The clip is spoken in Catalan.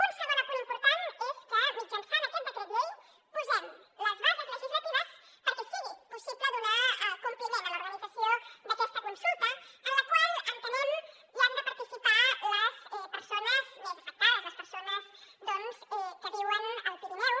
un segon apunt important és que mitjançant aquest decret llei posem les bases legislatives perquè sigui possible donar compliment a l’organització d’aquesta consulta en la qual entenem que hi han de participar les persones més afectades les persones que viuen al pirineu